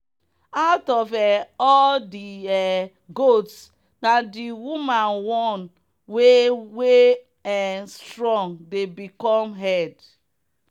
out of um all the um goats na the woman one wey wey um strong dey become head.